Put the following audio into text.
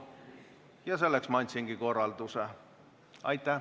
Ja selleks ma andsingi korralduse.